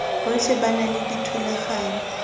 botlhe ba na le dithulaganyo